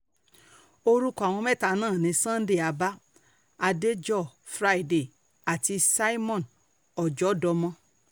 orúkọ àwọn mẹ́ta náà ni sunday abah adéjọ́ friday àti simeon ọjọ́dọ́mọ